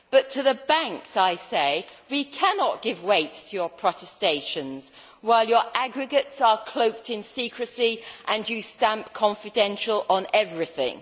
To the banks, I say we cannot give weight to your protestations while your aggregates are cloaked in secrecy and you stamp Confidential' on everything.